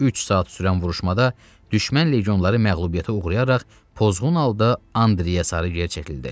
Üç saat sürən vuruşmada düşmən legionları məğlubiyyətə uğrayaraq pozğun halda Andreyə sarı gerçəkildi.